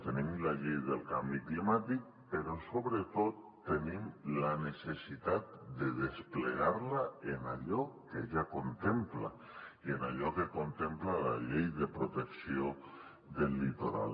tenim la llei del canvi climàtic però sobretot tenim la necessitat de desplegar la en allò que ja contempla i en allò que contempla la llei de protecció del litoral